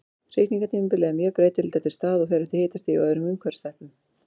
Hrygningartímabilið er mjög breytilegt eftir stað og fer eftir hitastigi og öðrum umhverfisþáttum.